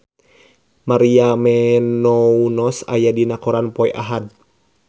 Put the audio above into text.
Maria Menounos aya dina koran poe Ahad